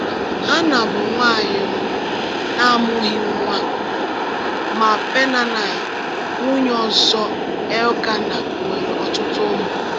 Hannạ bụ nwanyị um na-amụghị nwa, ma Peninnạ, nwunye ọzọ Elkanah, nwere ọtụtụ ụmụ.